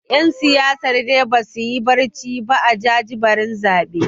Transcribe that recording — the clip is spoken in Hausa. ’Yan siyasar dai ba su yi barci ba a jajibirin zaben